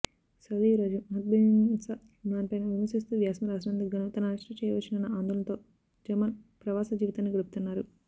Saudi యువరాజు మహమ్మద్బిన్సల్మాన్పైన విమర్శిస్తూ వ్యాసం రాసినందుకుగాను తనను అరెస్టు చేయవచ్చునన్న ఆందోళనతో జమాల్ ప్రవాసజీవితాన్ని గడుపుతున్నారు